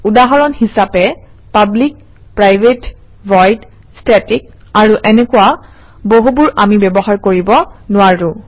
উদাহৰণ হিচাপে public private void static আৰু এনেকুৱা বহুবোৰ আমি ব্যৱহাৰ কৰিব নোৱাৰোঁ